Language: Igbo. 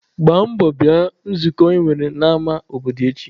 Gbaa mbọ bịa nzukọ e nwere n'ama obodo echi!